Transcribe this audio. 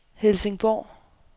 Helsingborg